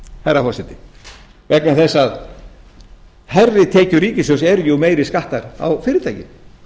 herra forseti vegna þess að hærri tekjur ríkissjóðs eru jú meiri skattar á fyrirtækin